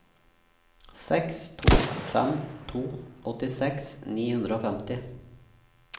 seks to fem to åttiseks ni hundre og femti